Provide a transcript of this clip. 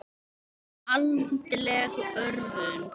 Andleg örvun.